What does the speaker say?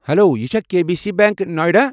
Hello, یہِ چھا K B C bank نایڈا؟